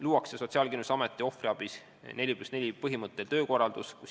Töötatakse välja Sotsiaalkindlustusameti ohvriabi 4 + 4 põhimõttel töökorraldus.